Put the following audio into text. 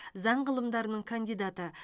заң ғылымдарының кандидаты